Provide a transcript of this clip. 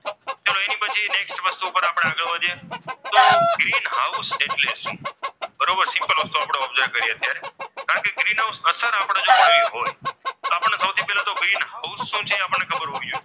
તો green house એટલે શું? બરોબર તો simple વસ્તુ observe કરીએ આપણે કારણ કે ગ્રીન હાઉસ અસર આપણે ભણવી હોય તો આપણને સૌથી પહેલા તો ગ્રીન હાઉસ શું છે એ આપણને ખબર હોવી જોઈએ.